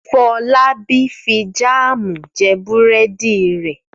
Fọlábí fi jáámù jẹ búrẹ́dì rẹ̀.